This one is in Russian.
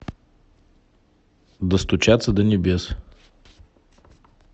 достучаться до небес